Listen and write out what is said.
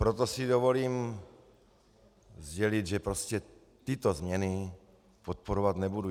Proto si dovolím sdělit, že prostě tyto změny podporovat nebudu.